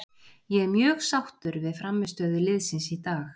Ég er mjög sáttur við frammistöðu liðsins í dag.